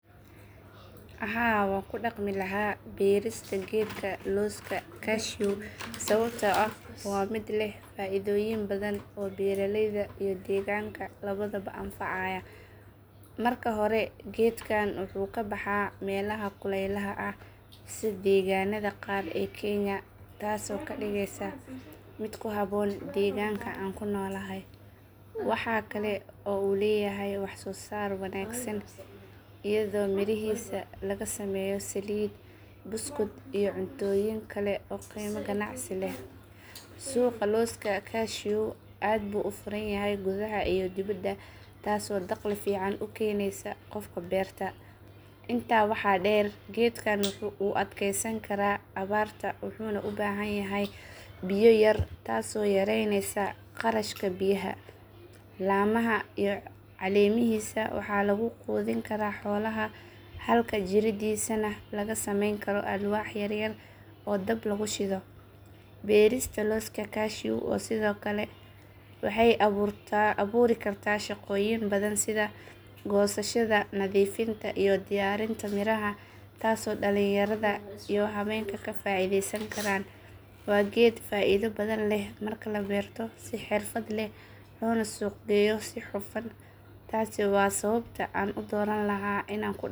Haa waan ku dhaqmi lahaa beerista geedka looska cashew sababtoo ah waa mid leh faa’iidooyin badan oo beeraleyda iyo deegaanka labadaba anfacaya. Marka hore geedkan wuxuu ku baxaa meelaha kulaylaha ah sida deegaanada qaar ee kenya taasoo ka dhigaysa mid ku habboon deegaanka aan ku noolahay. Waxa kale oo uu leeyahay wax soo saar wanaagsan iyadoo mirihiisa laga sameeyo saliid, buskud iyo cuntooyin kale oo qiimo ganacsi leh leh. Suuqa looska cashew aad buu u furan yahay gudaha iyo dibaddaba taasoo dakhli fiican u keenaysa qofka beerta. Intaa waxaa dheer geedkan wuu adkaysan karaa abaarta wuxuuna u baahan yahay biyo yar taasoo yareynaysa kharashka biyaha. Laamaha iyo caleemihiisa waxaa lagu quudin karaa xoolaha halka jiriddiisana laga samayn karo alwaax yar yar oo dab lagu shido. Beerista looska cashew sidoo kale waxay abuuri kartaa shaqooyin badan sida goosashada, nadiifinta iyo diyaarinta miraha taasoo dhalinyarada iyo haweenka ka faa’iideysan karaan. Waa geed faa’iido badan leh marka la beerto si xirfad leh loona suuq geeyo si hufan. Taasi waa sababta aan u dooran lahaa inaan ku dhaqmo beeristiisa.